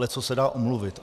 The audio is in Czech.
Leccos se dá omluvit.